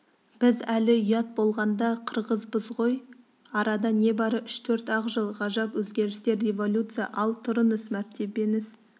біз әлі ұят болғанда қырғызбыз ғой арада небары үш-төрт-ақ жыл ғажап өзгерістер революция ал тұрыңыз мәртебеңіз